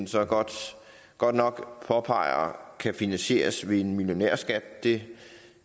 så godt godt nok påpeger kan finansieres ved en millionærskat det